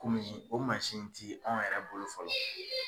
Komi o masin ti anw yɛrɛ bolo fɔlɔ